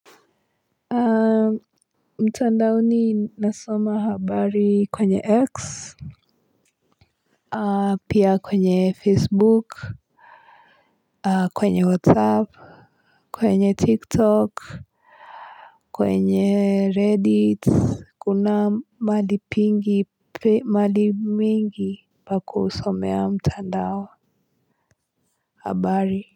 Mtandaoni nasoma habari kwenye X. Pia kwenye Facebook. Kwenye WhatsApp. Kwenye TikTok. Kwenye Reddit Kuna mahali mingi pa kusomea mtandao habari.